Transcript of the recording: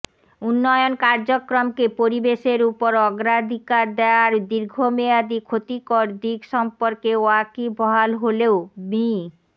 উন্নয়ন কার্যক্রমকে পরিবেশের ওপর অগ্রাধিকার দেয়ার দীর্ঘমেয়াদি ক্ষতিকর দিক সম্পর্কে ওয়াকিবহাল হলেও মি